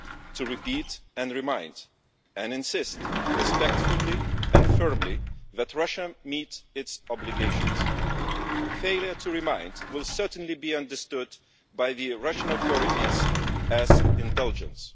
to repeat and remind, and insist respectfully and firmly that Russia meet its obligations failure to remind will certainly be understood by the Russian authorities as indulgence'.